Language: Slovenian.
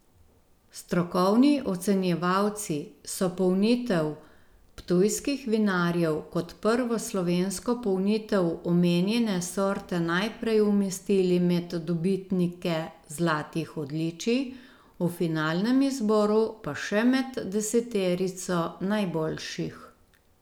Strokovni ocenjevalci so polnitev ptujskih vinarjev kot prvo slovensko polnitev omenjene sorte najprej umestili med dobitnike zlatih odličij, v finalnem izboru pa še med deseterico najboljših.